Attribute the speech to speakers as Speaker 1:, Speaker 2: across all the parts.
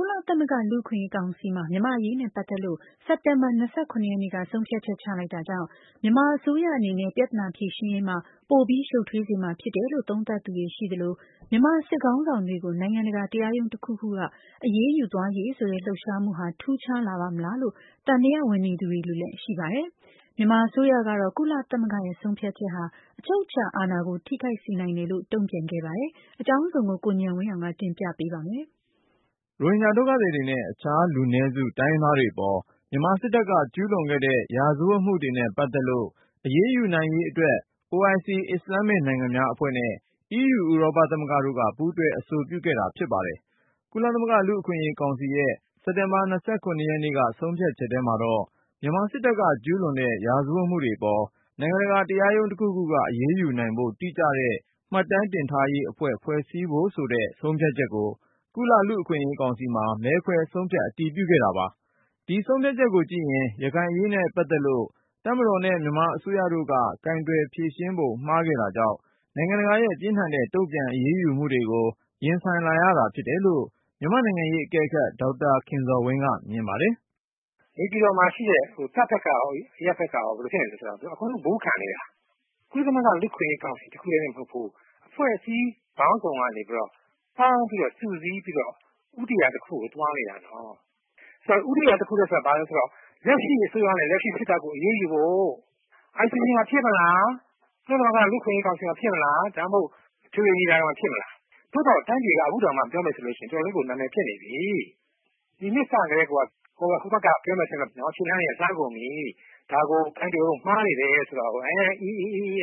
Speaker 1: ကုလသမဂ္ဂ လူ့အခွင့်အရေးကောင်စီမှာ မြန်မာ့အရေးနဲ့ပတ်သက်လို့ မနေ့က ဆုံးဖြတ်ချက် ချလိုက်တာကြောင့် မြန်မာအစိုးရအနေနဲ့ ပြဿနာ ဖြေရှင်းရေးမှာ ပိုပြီးရှုပ်ထွေးစေမှာဖြစ်တယ်လို့ သုံးသပ်သူရှိသလို၊ မြန်မာစစ်ခေါင်းဆောင်တွေကို နိုင်ငံတကာ တရားရုံးတခုခုက အရေးယူ သွားရေးဆိုတဲ့ လှုပ်ရှားမှုဟာ ထူးခြားလာပါ့မလားလို့ သံသယဝင်နေသူတွေလည်း ရှိနေပါတယ်။ မြန်မာအစိုးရကတော့ ကုလသမဂ္ဂရဲ့ဆုံးဖြတ် ချက်ဟာ အချုပ်အခြာအာဏာကို ထိခိုက်စေတယ်လို့ တုန့်ပြန်ထားပါတယ်။ အကြောင်းစုံကို ကိုဉာဏ်ဝင်းအောင်က တင်ပြမှာပါ။
Speaker 2: ရိုဟင်ဂျာဒုက္ခသည်တွေနဲ့ အခြားလူနည်းစု တိုင်းရင်းသားတွေအပေါ် မြန်မာစစ်တပ်က ကျူးလွန်ခဲ့တဲ့ ရာဇဝတ်မှုတွေနဲ့ပတ်သက်လို့ အရေးယူ နိုင်ရေးအတွက် OIC အစ္စလာမ္မစ်နိုင်ငံများအဖွဲ့နဲ့ EU ဥရောပသမဂ္ဂတို့က ပူးတွဲအဆိုပြုခဲ့တာဖြစ်ပါတယ်။ ကုလသမဂ္ဂ လူ့အခွင့်အရေးကောင်စီ ရဲ့ စက်တင်ဘာ ရက်နေ့က ဆုံးဖြတ်ချက်ထဲမှာတော့ မြန်မာစစ်တပ်က ကျူးလွန်တဲ့ ရာဇဝတ်မှုတွေအပေါ် နိုင်ငံတကာ တရားရုံးတခုခုက အရေးယူနိုင်ဖို့ တိကျတဲ့ မှတ်တမ်းတင်ထားရေးအဖွဲ့ ဖွဲ့စည်းဖို့ဆိုတဲ့ ဆုံးဖြတ်ချက်ကို ကုလလူ့အခွင့်အရေးကောင်စီမှာ မဲခွဲဆုံးဖြတ် အတည်ပြု ခဲ့တာပါ။ ဒီဆုံးဖြတ်ချက်ကိုကြည့်ရင် ရခိုင်အရေးနဲ့ပတ်သက်လို့ တပ်မတော်နဲ့ မြန်မာအစိုးရတို့က ကိုင်တွယ်ဖြေရှင်းပုံ မှားခဲ့တာကြောင့် နိုင်ငံတကာရဲ့ ပြင်းထန်တဲ့ တုန့်ပြန် အရေးယူမှုတွေကို ရင်ဆိုင်လာရတာဖြစ်တယ်လို့ မြန်မာ့နိုင်ငံရေးအကဲခတ် ဒေါက်တာခင်ဇော်ဝင်းက မြင်ပါတယ်။
Speaker 3: “ နေပြည်တော်မှာရှိတဲ့ တပ်ဖက်ကရော အရပ်ဖက်ကရော ဘယ်လိုဖြစ်နေသလဲဆိုတော့ သူတို့က အကုန်လုံး ဘူးခံနေတာ၊ ကုလသမဂ္ဂလူ့အခွင့်အရေး ကောင်စီတခုထဲတင် မဟုတ်ဘူး အဖွဲ့စည်းပေါင်းစုံကနေပြီးတော့ ပေါင်းပြီးတော့ စုစည်းပြီးတော့ ဦးတည်ရာတခုကို သွားနေတာနော့။ ဦးတည်ရာ တခုဆိုတာ ဘာလဲဆိုတော့ လက်ရှိအစိုးရနဲ့ လက်ရှိစစ်တပ်ကို အရေးယူဖို့ပဲ။ ICC မှာ ဖြစ်မလား၊ ကုလသမဂ္ဂ လူ့အခွင့်အရေးကောင်စီမှာ ဖြစ်မလား၊ ဒါမှမဟုတ် ကုလအထွေထွေညီလာခံမှာ ဖြစ်မလားပဲ။ သို့သော် တိုင်းပြည်က ပြောမယ်ဆို ခုတောင် နာမည်အတော်ကို ပျက်နေပြီ။ ဒီနှစ်စ ကတည်းကိုက ပြောမယ်ဆိုဟိုဘက်က ခြေလှမ်းတွေက လှမ်းကုန်ပြီ၊ ဒီကိစ္စ ကိုင်တွယ်ပုံ မှားနေတယ်လို့ ပြောနေတာကို အိ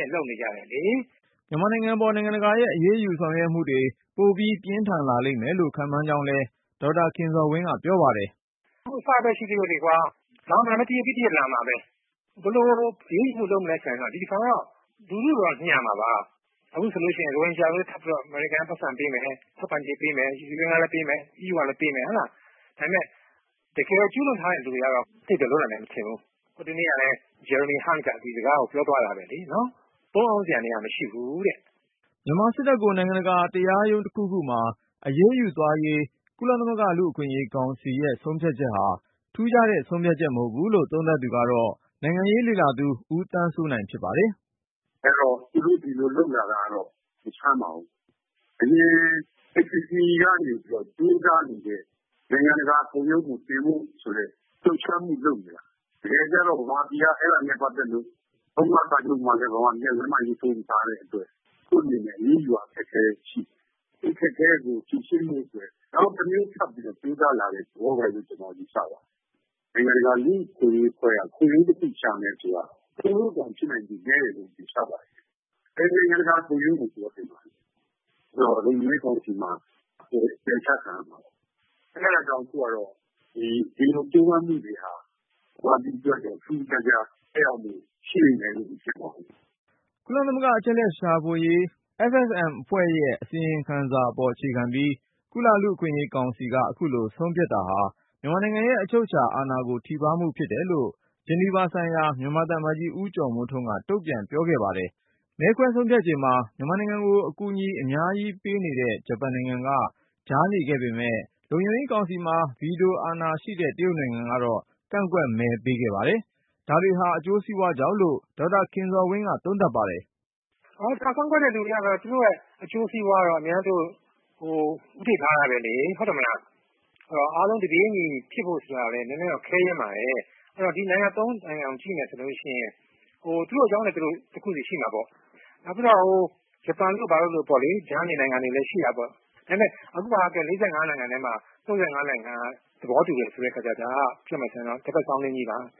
Speaker 3: အားလုပ်နေကြတာလေ။”
Speaker 2: မြန်မာပြည်ပေါ် နိုင်ငံတကာရဲ့ အရေးယူဆောင်ရွက်မှုတွေ ပိုပြီးပြင်းထန်လာမယ်လို့ ခန့်မှန်းကြောင်းလည်း ဒေါက်တာခင်ဇော်ဝင်းက ပြောပါတယ်။
Speaker 3: “ အခု အစပဲရှိသေးတာ၊ နောက် တရစ်ပြီးတရစ် လာမှာပဲ။ ဘယ်လိုအရေးယူမှု လုပ်မလဲ ဆိုရင်တော့ ဒီတခါတော့ လူထုကိုတော့ညှာမှာပါ အခုဆိုရင် ရိုဟင်ဂျာတွေအတွက် အမေရိကန်က ပိုက်ဆံထပ်ပေးမယ်၊ ထောက်ပံ့ကြေးပေးမယ် UN ကလည်းပေးမယ် EU ကလည်းပေးမယ်။ ဒါပေမဲ့ တကယ်ကျူးလွန်ထားတဲ့ လူတွေကတော့ သိပ်တော့လွတ်နိုင်မယ် မထင်ဘူး။ ဟိုတနေ့ကလည်း Jeremy Hunt က ဒီစကားကိုပြောသွားတာပဲလေ.. နော်။ ပုန်းအောင်းစရာ နေရာ မရှိဘူးတဲ့ ”
Speaker 2: မြန်မာစစ်တပ်ကို နိုင်ငံတကာတရားရုံးတခုခုမှာ အရေးယူသွားရေး ကုလလူ့အခွင့်အရေးကောင်စီရဲ့ဆုံးဖြတ်ချက်ဟာ ထူးခြားတဲ့ ဆုံးဖြတ်ချက် မဟုတ်ဘူးလို့ သုံးသပ်သူကတော့ နိုင်ငံရေးလေ့လာသူ ဦးသန်းစိုးနိုင်ဖြစ်ပါတယ်။
Speaker 1: “ သူတို့ ဒီလိုလုပ်လာတာကတော့ မဆန်းပါဘူး။ အရင် ICC ကနေပြီးတော့ ကြိုးစားနေတဲ့.. နိုင်ငံတကာ ခုံရုံးကို တင်ဖို့ဆိုတဲ့ လှုပ်ရှားမှုလုပ်နေတာ။ တကယ်ကျတော့ မြန်မာပြည်က အဲဒါနဲ့ပတ်သက်လို့ ရောမစာချုပ်မှာလည်း လက်မှတ်ထိုးရေးထိုး မထားတဲ့အတွက် သူတို့အနေနဲ့ အရေးယူရ ခက်ခဲနေတယ်။ ဒီအခက်အခဲကို ဖြေရှင်းဖို့အတွက် နောက်တမျိုးထပ်ပြီးတော့ ကြိုးစားလာတဲ့သဘောလို့ ကျနော်ကတော့ ယူဆပါတယ်။ နိုင်ငံတကာ လူ့အခွင့်အရေးအဖွဲ့က ခုံရုံးတခုရှာမယ်ဆိုတာ ပိုလို့တောင်ဖြစ်နိုင်ခြေ နည်းတယ်လို့ ယူဆပါတယ်။ ဘယ်နိုင်ငံတကာခုံရုံးကို သူကတင်မှာလဲ၊ လုံခြုံရေး ကောင်စီမှာဆိုလည်း ပယ်ချခံရမှာပဲ၊ အဲဒါကြောင့် ဒီလိုကြိုးပမ်းမှုတွေဟာ မြန်မာပြည်အတွက်တော့ ထူးထူးခြားခြား သက်ရောက်မှု ရှိလိမ့်မယ်လို့ မထင်ပါဘူး။
Speaker 2: ” ကုလသမဂ္ဂ အချက်အလက် ရှာဖွေစုဆောင်းရေး FFM အဖွဲ့ရဲ့ အစီရင်ခံစာအပေါ်အခြေခံပြီး၊ ကုလလူ့အခွင့်အရေးကောင်စီက အခုလို ဆုံးဖြတ်ခဲ့တာဟာ မြန်မာနိုင်ငံရဲ့ အချုပ်အချာအာဏာကို ထိပါးမှုဖြစ်တယ်လို့ Geneva ဆိုင်ရာ မြန်မာသံအမတ်ကြီး ဦးကျော်မိုးထွန်းက တုံ့ပြန်ပြောခဲ့ပါတယ်။ မဲခွဲဆုံးဖြတ်ချိန်မှာ မြန်မာနိုင်ငံကို အကူအညီအများကြီးပေးနေတဲ့ ဂျပန်နိုင်ငံက ကြားနေခဲ့ပေမယ့် လုံခြုံရေးကောင်စီမှာ ဗီတိုအာဏာရှိတဲ့ တရုတ်နိုင်ငံတော့ ကန့်ကွက်မဲပေးခဲ့ပါတယ်။ ဒါတွေဟာ အကျိုးစီးပွားကြောင့်လို့ ဒေါက်တာခင်ဇော်ဝင်းက သုံးသပ်ပါတယ်။
Speaker 3: “ ကန့်ကွက်တဲ့ နိုင်ငံတွေကတော့ သူတို့ရဲ့အကျိုးစီးပွားကို အမြဲ ဦးထိပ်ထားတာပဲလေ။ အဲဒီတော့ အားလုံး တပြေးညီဖြစ်ဖို့ ဆိုတာကလည်း နည်းနည်းတော့ ခဲယဉ်းပါတယ်။ အဲဒီတော့ ကန့်ကွက်တဲ့ နိုင်ငံ ၃ခုကို ကြည့်မယ်ဆိုရင် သူတို့အကြောင်းနဲ့သူတို့ တခုစီရှိမှာပေါ့။ နောက်ပြီးတော့ ဂျပန်တို့ ဘာတို့လိုပေါ့လေ ကြားနေနိုင်ငံတွေလည်း ရှိတာပေါ့။ အခုဟာက ၄၅ နိုင်ငံထဲမှာ ၃၅ နိုင်ငံက သဘောတူတယ်ဆိုတဲ့အခါကျတော့ ဒါက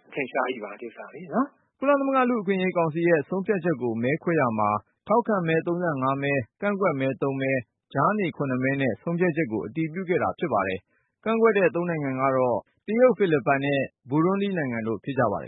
Speaker 3: အထင်ရှားကြီးပါ။”
Speaker 2: ကုလလူ့အခွင့်အရေးကောင်စီရဲ့ ဆုံးဖြတ်ချက်ကို မဲခွဲရာမှာ ထောက်ခံမဲ ၃၅ မဲ၊ ကန့်ကွက်မဲ ၃ မဲ၊ ကြားနေ ၇ မဲနဲ့ ဆုံးဖြတ်ချက်ကို အတည်ပြုခဲ့တာပါ။ ကန့်ကွက်တဲ့ ၃ နိုင်ငံကတော့ တရုတ်၊ ဖိလစ်ပိုင်နဲ့ ဘူရွန်ဒီနိုင်ငံတို့ ဖြစ်ကြပါတယ်